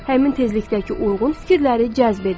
Həmin tezlikdəki uyğun fikirləri cəzb edir.